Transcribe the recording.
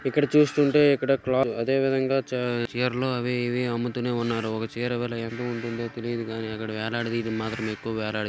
ఇక్కడ చూస్తుంటే ఇక్కడ క్లాత్స్ అదేవిధంగా చె-- చీరలు అవి ఇవి అమ్ముతూనే ఉన్నారుచీర విలువ ఎంత ఉంటుందో తెలియదు గానీ ఇక్కడ వేలాడదీయడం మాత్రమే ఎక్కువ వేలాడదీ--